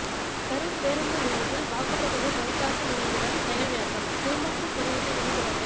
கரூர் பேருந்து நிலையத்தில் வாக்குப்பதிவு சரிபார்க்கும் இயந்திரம் செயல்விளக்கம் குறும்படங்கள் திரையிட்டு விழிப்புணர்வு